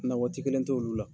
Na waati kelen tɛ olu la.